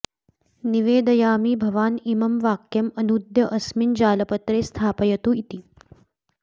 निवेदयामि भवान् इमं वाक्यम् अनूद्य अस्मिन् जालपत्रे स्थापयतु इति